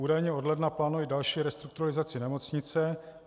Údajně od ledna plánují další restrukturalizaci nemocnice.